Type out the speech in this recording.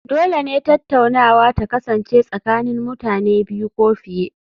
Dole ne tattaunawa ta kasance tsakanin mutane biyu ko fiye